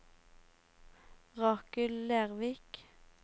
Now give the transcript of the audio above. Rakel Lervik